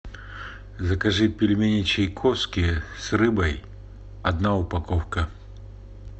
закажи пельмени чайковские с рыбой одна упаковка